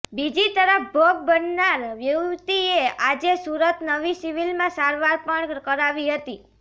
બીજી તરફ ભોગ બનનાર યુવતીએ આજે સુરત નવી સિવિલમાં સારવાર પણ કરાવી હતી